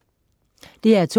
DR2: